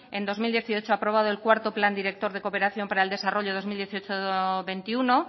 en dos mil dieciocho ha aprobado el cuarto plan director de cooperación para el desarrollo dos mil dieciocho dos mil veintiuno